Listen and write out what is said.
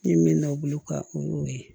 N ye min nɔ bolo ka o y'o ye